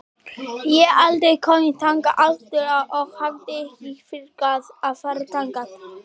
Ég hef aldrei komið þangað áður og hafði ekki fyrirhugað að fara þangað.